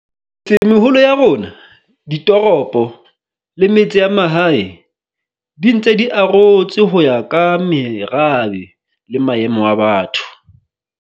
Tsemeholo ya rona, ditoropo le metse ya mahae di ntse di arotswe ho ya ka merabe le maemo a batho.